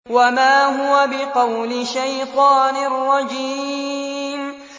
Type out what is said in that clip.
وَمَا هُوَ بِقَوْلِ شَيْطَانٍ رَّجِيمٍ